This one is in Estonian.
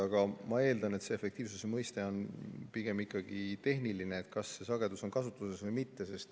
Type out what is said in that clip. Aga ma eeldan, et see efektiivsuse mõiste on pigem ikkagi tehniline, st kas see sagedus on kasutusel või mitte.